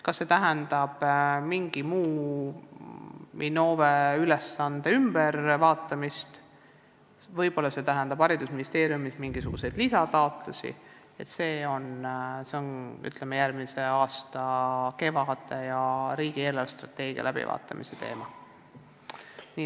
Kas see tähendab mingite Innove ülesannete muutmist ja eeldab haridusministeeriumilt mingisuguseid lisataotlusi, see on järgmise aasta kevade teema, kui arutatakse riigi eelarvestrateegiat.